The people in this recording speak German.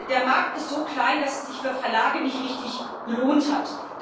Der Markt ist so klein, dass es sich für Verlage nicht richtig gelohnt hat.